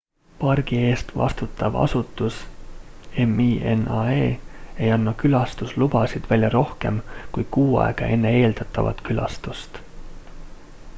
pargi eest vastutav asutus minae ei anna külastuslubasid välja rohkem kui kuu aega enne eeldatavat külastust